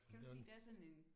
Kan du ikke se der er sådan en